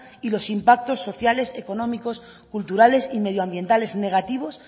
y los impactos sociales económicos culturales y medioambientales negativos